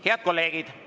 Head kolleegid!